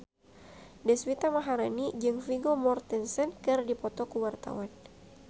Deswita Maharani jeung Vigo Mortensen keur dipoto ku wartawan